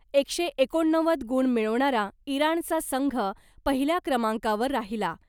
एकशे एकोणनव्वद गुण मिळवणारा इराणचा संघ पहिल्या क्रमांकावर राहिला .